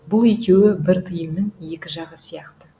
бұл екеуі бір тиынның екі жағы сияқты